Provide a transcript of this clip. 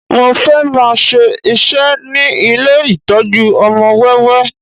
Mo fẹ́ máa ṣe iṣẹ́ ní ilé ìtọ́jú ọmọ wẹ́wẹ́